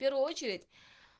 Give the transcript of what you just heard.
в первую очередь